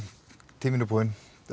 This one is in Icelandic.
tíminn er búinn